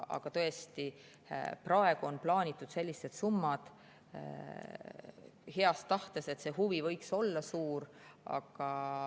Aga praegu on plaanitud sellised summad heas, et see huvi võiks olla suur.